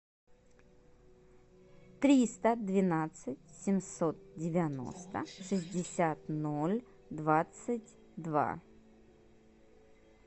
триста двенадцать семьсот девяносто шестьдесят ноль двадцать два